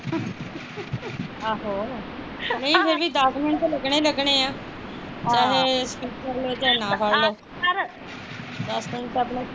ਨਹੀਂ ਅਜੇ ਵੀ ਦੱਸ ਮਿੰਟ ਲੱਗਣੇ ਲੱਗਣੇ ਆ ਚਾਹੇ ਸਪੀਟ ਫੜਲੋ ਚਾਹੇ ਨਾ ਫੜਲੋ ਆਪਾਂ ਨੂੰ ਤਾਂ ਆਪਣਾ ਪੂਰਾ